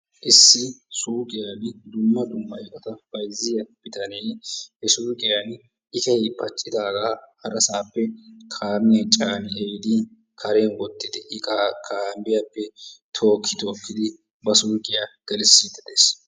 Issi suuqiyaan dumma dumma iqata bayzziyaa bitanee he suuqiyaan iqay paccidaagaa harasappe kaamiyaan caani ehiidi karen woottidi iqaa kaamiyaappe tookki tookki woottidi ba suuqiyaa geliisidi de'ees.